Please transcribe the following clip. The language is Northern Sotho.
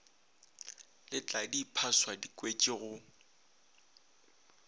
le tladiephaswa di kwetše go